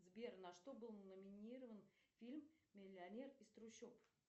сбер на что был номинирован фильм миллионер из трущоб